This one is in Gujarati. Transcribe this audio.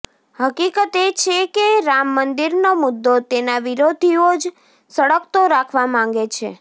હકીકત એ છે કે રામમંદિરનો મુદ્દો તેના વિરોધીઓ જ સળગતો રાખવા માંગે છે